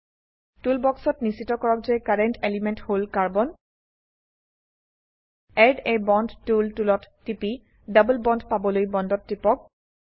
টোল বক্সত নিশ্চিত কৰক যে কাৰেণ্ট এলিমেণ্ট হল carbon add a bond tool টুলত টিপি ডবল বন্দ পাবলৈ বন্দত টিপক